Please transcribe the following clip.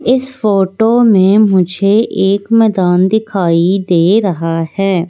इस फोटो में मुझे एक मैदान दिखाई दे रहा है।